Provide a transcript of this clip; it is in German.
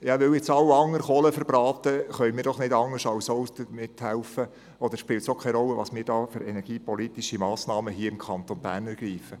Weil jetzt alle anderen Kohle verbraten, können wir nicht anders, als das auch zu tun, oder es spielt keine Rolle, welche energiepolitischen Massnahmen wir hier im Kanton Bern ergreifen.